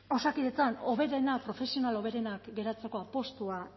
osakidetzan hoberenak profesional hoberenak geratzeko apustua